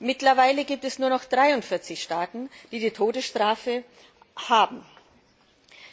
Mittlerweile gibt es nur noch 43 Staaten, die die Todesstrafe verhängen.